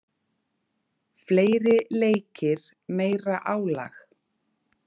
Fleiri leikir, meira álag.